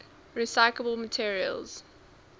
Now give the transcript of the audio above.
recyclable materials